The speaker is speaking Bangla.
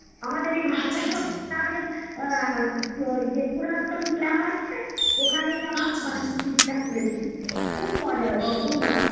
আমাদের এই যে পুরাতন club আছে ওখানেই আমরা picnic টা খুলেছি খুব মজা হয়েছে খুব মজা হচ্ছে